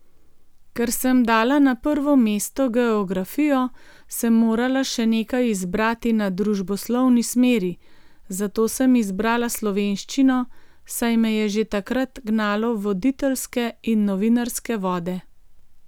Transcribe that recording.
Ker sem dala na prvo mesto geografijo, sem morala še nekaj izbrati na družboslovni smeri, zato sem izbrala slovenščino, saj me je že takrat gnalo v voditeljske in novinarske vode.